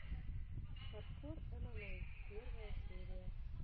хардкор эмэмэй первая серия